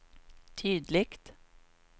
tydligt